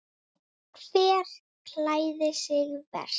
Hver klæðir sig verst?